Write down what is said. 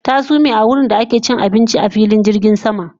Ta sume a wurinda ake cin abinci a filin jirgin sama